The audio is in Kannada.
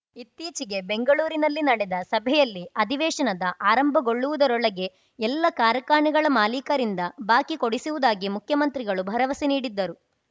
ಇತ್ತೀಚೆಗೆ ಬೆಂಗಳೂರಿನಲ್ಲಿ ನಡೆದ ಸಭೆಯಲ್ಲಿ ಅಧಿವೇಶನದ ಆರಂಭಗೊಳ್ಳುವುದರೊಳಗೆ ಎಲ್ಲ ಕಾರ್ಖಾನೆಗಳ ಮಾಲೀಕರಿಂದ ಬಾಕಿ ಕೊಡಿಸುವುದಾಗಿ ಮುಖ್ಯಮಂತ್ರಿಗಳು ಭರವಸೆ ನೀಡಿದ್ದರು